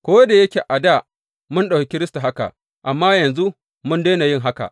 Ko da yake a dā, mun ɗauki Kiristi haka, amma yanzu mun daina yin haka.